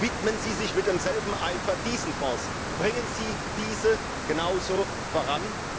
Widmen Sie sich mit demselben Eifer diesen Fonds, bringen Sie diese genauso voran.